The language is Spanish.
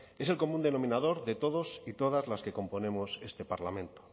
es el común denominador de todos y todas las que componemos este parlamento